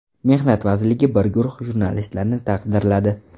Mehnat vazirligi bir guruh jurnalistlarni taqdirladi.